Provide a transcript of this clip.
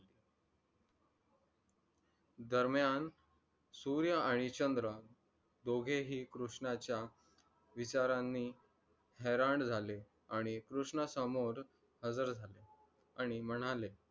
दरम्यान सूर्य आणि चंद्र दोघे हि कृष्णाचा विचारांनि हैराण झाले, आणि कृष्णा समोर हाजीर झाले आणि म्हणाले,